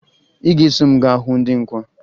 Ị ga-eso m gaa hụ ndị nkwa